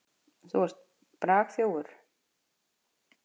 Þú ert bragþjófur.